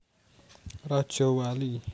Rajawali